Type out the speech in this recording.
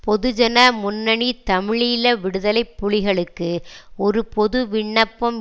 பொதுஜன முன்னணி தமிழீழ விடுதலை புலிகளுக்கு ஒரு பொதுவிண்ணப்பம்